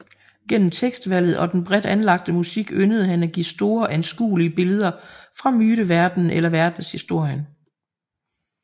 Gennem tekstvalget og den bredt anlagte musik yndede han at give store anskuelige billeder fra myteverdenen eller verdenshistorien